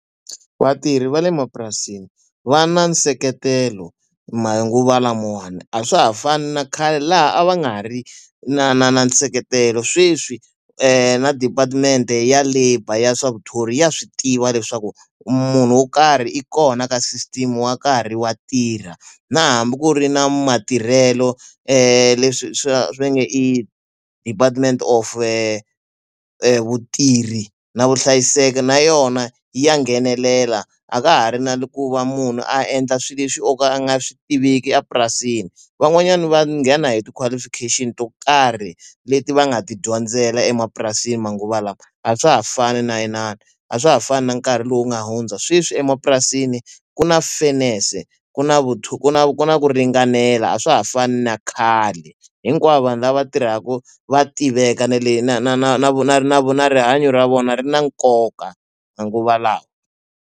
Vatirhi va le mapurasini va na nseketelo manguva lamawani, a swa ha fani na khale laha a va nga ha ri na na na nseketelo. Sweswi na department ya labour ya swa vuthori ya swi tiva leswaku munhu wo karhi i kona ka system wa nkarhi wa tirha. Na hambi ku ri na matirhelo leswi swa va nge i department of vatirhi na vuhlayiseki, na yona ya nghenelela, a ka ha ri na ku va munhu a endla swilo leswi o ka a nga swi tiveki epurasini. Van'wanyani va nghena hi ti-qualification to karhi leti va nga ti dyondzela emapurasini manguva lawa. A swa ha fani na inani, a swa ha fani na nkarhi lowu nga hundza sweswi emapurasini ku na fairness-e, ku na ku na ku na ku ringanela a swa ha fani na khale. Hinkwavo vanhu lava tirhaka va tiveka na le na na na na na na na rihanyo ra vona ri na nkoka manguva lawa.